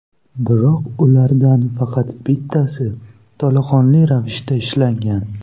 Biroq ulardan faqat bittasi to‘laqonli ravishda ishlagan.